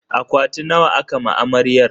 Akwati nawa aka ma amaryar?